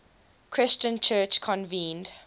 christian church convened